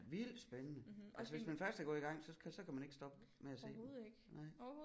Vildt spændende altså hvis man først er gået i gang så kan så kan man ikke stoppe med at se den nej